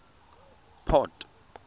port